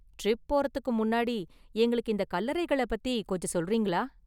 Trip போறதுக்கு முன்னாடி, எங்களுக்கு இந்த கல்லறைங்கள பத்தி கொஞ்சம் சொல்றீங்களா?